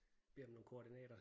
Beder om nogle koordinater